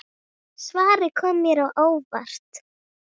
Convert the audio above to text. Svarið kom mér á óvart.